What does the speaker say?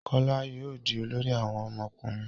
Kola yóò dì olórí àwọn ọmọkùnrin.